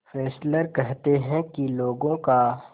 Fessler कहते हैं कि लोगों का